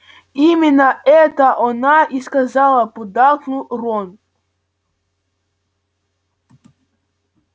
именно это она и сказала поддакнул рон